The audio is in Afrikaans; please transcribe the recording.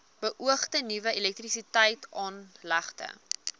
beoogde nuwe elektrisiteitsaanlegte